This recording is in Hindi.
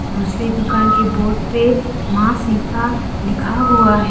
दूसरी दुकान की बोर्ड पे मां सीता लिखा हुआ है।